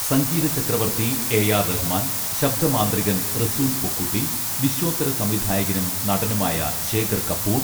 സംഗീത ചക്രവർത്തി A R Rahman ശബ്ദമാന്ത്രികൻ റസൂൽ പൂക്കുട്ടി വിശ്വോത്തര സംവിധായകനും നടനുമായ ശേഖർ കപൂർ